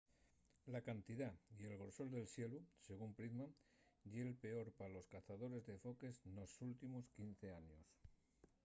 la cantidá y el grosor del xelu según pittman ye’l peor pa los cazadores de foques nos últimos 15 años